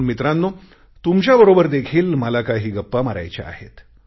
तरुण मित्रांनो तुमच्याबरोबर देखील मला काही गप्पा मारायच्या आहेत